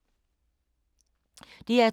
DR2